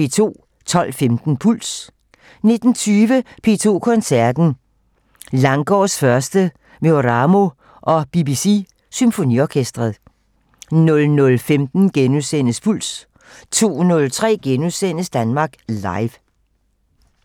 12:15: Puls 19:20: P2 Koncerten - Langgaards 1. med Oramo og BBC symfonikerne 00:15: Puls * 02:03: Danmark Live *